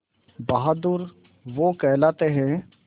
बहादुर वो कहलाते हैं